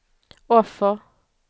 offer